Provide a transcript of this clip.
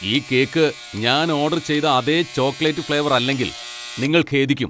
ഈ കേക്ക് ഞാൻ ഓഡർ ചെയ്ത അതേ ചോക്ലേറ്റ് ഫ്ലേവർ അല്ലെങ്കിൽ, നിങ്ങൾ ഖേദിക്കും!